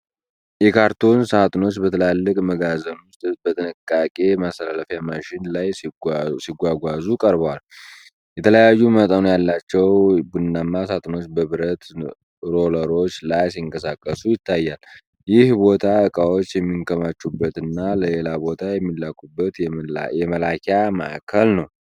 የካርቶን ሣጥኖች በትላልቅ መጋዘን ውስጥ በንቅናቄ ማስተላለፊያ ማሽን ላይ ሲጓጓዙ ቀርቧል። የተለያዩ መጠኖች ያላቸው ቡናማ ሣጥኖች በብረት ሮለሮች ላይ ሲንቀሳቀሱ ይታያል። ይህ ቦታ ዕቃዎች የሚከማቹበትና ለሌላ ቦታ የሚላኩበት የመላኪያ ማዕከል ነው።